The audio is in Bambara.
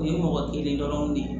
U ye mɔgɔ kelen dɔrɔn de ye